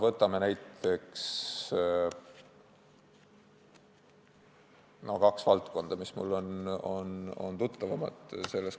Võtame kaks valdkonda, mis mulle on selles kontekstis tuttavamad.